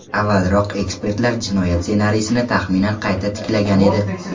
Avvalroq ekspertlar jinoyat ssenariysini taxminan qayta tiklagan edi.